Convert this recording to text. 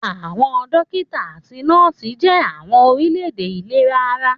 Àwọn dókítà àti nọ́ọ̀sì jẹ́ àwọn òṣìṣẹ́ ìlera ara